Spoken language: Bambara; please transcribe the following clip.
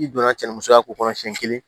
I donna cɛmusoya ko kɔnɔ siɲɛ kelen